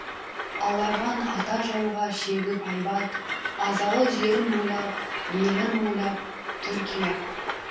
аларған ата жауға шегіп айбат азалы жерін ойлап елін ойлап түркия